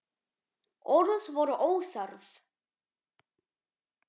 Orð voru óþörf.